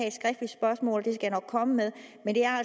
et skriftligt spørgsmål jeg nok komme med